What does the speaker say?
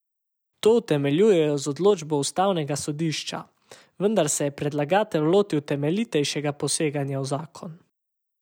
To utemeljujejo z odločbo ustavnega sodišča, vendar se je predlagatelj lotil temeljitejšega poseganja v zakon.